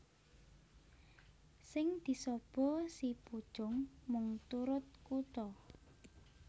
Sing disaba si pucung mung turut kutha